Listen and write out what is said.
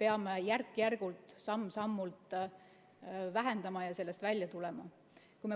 peame järk-järgult, samm-sammult vähendama ja sellest välja tulema.